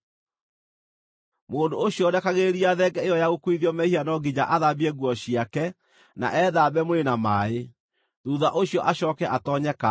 “Mũndũ ũcio ũrekagĩrĩria thenge ĩyo ya gũkuuithio mehia no nginya athambie nguo ciake na ethambe mwĩrĩ na maaĩ; thuutha ũcio acooke atoonye kambĩ.